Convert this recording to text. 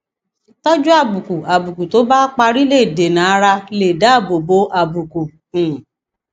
tójú àbùkù àbùkù tó bá parí lè dènàárà lè dáàbò bo àbùkù um